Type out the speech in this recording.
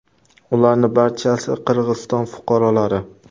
Ularning barchasi Qirg‘iziston fuqarolari.